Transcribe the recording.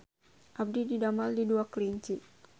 Abdi didamel di Dua Kelinci